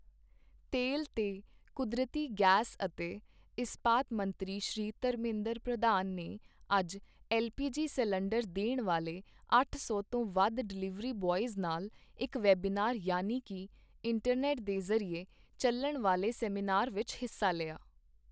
ਤੇਲ ਤੇ ਕੁਦਰਤੀ ਗੈਸ ਅਤੇ ਇਸਪਾਤ ਮੰਤਰੀ ਸ਼੍ਰੀ ਧਰਮਿੰਦਰ ਪ੍ਰਧਾਨ ਨੇ ਅੱਜ ਐੱਲ ਪੀ ਜੀ ਸਿਲੰਡਰ ਦੇਣ ਵਾਲੇ ਅੱਠ ਸੌ ਤੋਂ ਵੱਧ ਡਿਲਿਵਰੀ ਬੌਇਜ਼ ਨਾਲ ਇੱਕ ਵੈਬੀਨਾਰ ਯਾਨੀ ਕਿ ਇੰਟਰਨੈੱਟ ਦੇ ਜ਼ਰੀਏ ਚੱਲਣ ਵਾਲੇ ਸੈਮੀਨਾਰ ਵਿੱਚ ਹਿੱਸਾ ਲਿਆ।